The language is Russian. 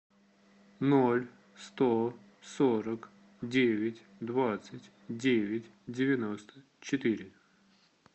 ноль сто сорок девять двадцать девять девяносто четыре